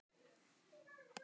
Þarf að verða vakning